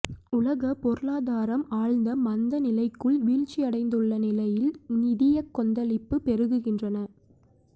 உலகப் பொருளாதாரம் ஆழ்ந்த மந்தநிலைக்குள் வீழ்ச்சியடைந்துள்ள நிலையில் நிதியக் கொந்தளிப்பு பெருகுகின்றன